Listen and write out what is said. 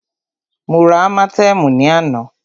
Mó rá ámátẹ̀ẹ̀mú ní àná.